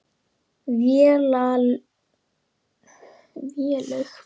Vélaug, lækkaðu í græjunum.